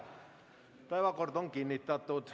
Päevakord on kinnitatud.